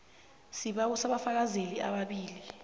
sibawa abafakazeli ababili